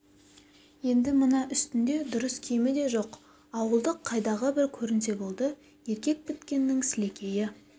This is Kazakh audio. енді мына үстінде дұрыс киімі де жоқ ауылдық қайдағы бір көрінсе болды еркек біткеннің сілекейі